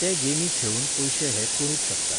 ते गेमी खेळून पयशे हे करूंक शकतात